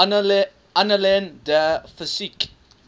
annalen der physik